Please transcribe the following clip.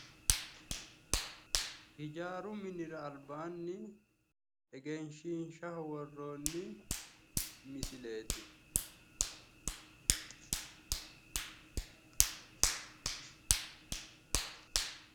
Hijaaru minira albaanni egenshiishshaho worroonni misileeti.